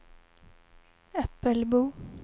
Äppelbo